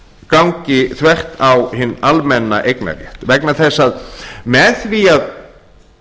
gangi þvert á hinn almenna eignarrétt vegna þess að með því að